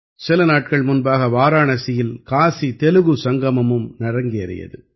சில நாட்கள் முன்பாக வாராணசியில் காசி தெலுகு சங்கமமும் அரங்கேறியது